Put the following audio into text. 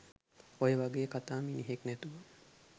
ඔය වගේ කතා මිනිහෙක් නැතුව